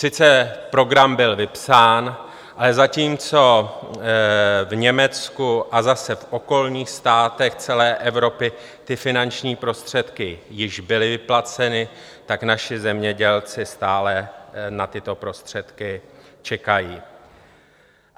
Sice program byl vypsán, ale zatímco v Německu a zase v okolních státech celé Evropy ty finanční prostředky již byly vyplaceny, tak naši zemědělci stále na tyto prostředky čekají.